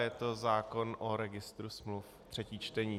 Je to zákon o registru smluv, třetí čtení.